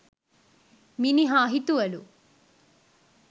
මිනිහා හිතුවලු.